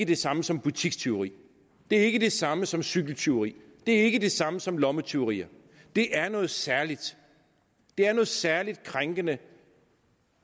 det samme som butikstyveri det er ikke det samme som cykeltyveri det er ikke det samme som lommetyveri det er noget særligt det er noget særlig krænkende